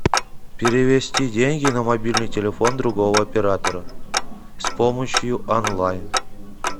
перевести деньги на мобильный телефон другого оператора с помощью онлайн